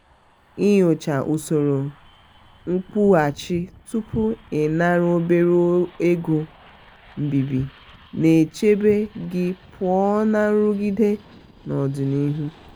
inyochaa usoro nkwụghachi tupu i nara obere ego mbibi na-echebe gị pụọ na nrụgide n'ọdịnihu.